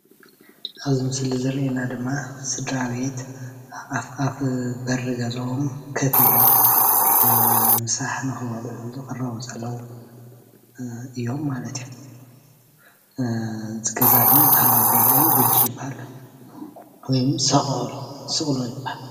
ኣብዚ ምስሊ ዝርአየና ቡዙሓት ኣብ ኣፍ ደገ ገዝኦም ኮፍ ኢሎም እንሄው። እቲ ገዛ ከዓ ሶቆታ ይብሃል